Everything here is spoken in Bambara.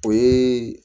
O ye